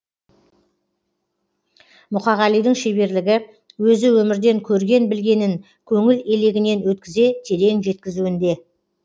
мұқағалидің шеберлігі өзі өмірден көрген білгенін көңіл елегінен өткізе терең жеткізуінде